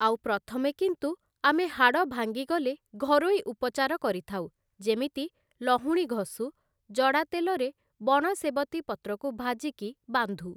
ଆଉ ପ୍ରଥମେ କିନ୍ତୁ ଆମେ ହାଡ଼ଭାଙ୍ଗି ଗଲେ ଘରୋଇ ଉପଚାର କରିଥାଉ ଯେମିତି ଲହୁଣୀ ଘଷୁ, ଜଡ଼ା ତେଲରେ ବଣ ସେବତୀ ପତ୍ରକୁ ଭାଜିକି ବାନ୍ଧୁ ।